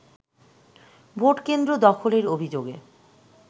vote কেন্দ্র দখলের অভিযোগে